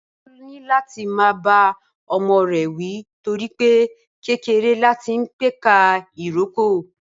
Bímpé yóò níláti máa bá ọmọ rẹ̀ wí torí pé kékeré láti ń pẹ̀ka ìrókò